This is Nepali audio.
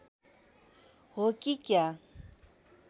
हो कि क्या